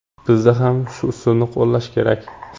Bizda ham shu usulni qo‘llash kerak.